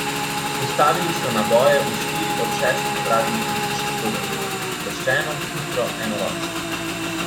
Vstavili so naboje v štiri od šestih praznih ležišč bobenčka, sproščeno, hitro, enoročno.